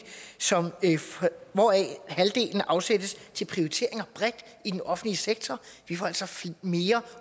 hvoraf halvdelen afsættes til prioriteringer bredt i den offentlige sektor vi får altså mere